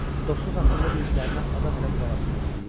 Dostluq haqqında dediklərinə adam elə qulaq asmaq istəyir.